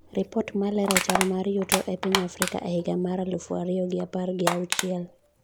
Ripot malero chal mar yuto e piny Afrika e higa mar alufu ariyo gi apar gi auchiel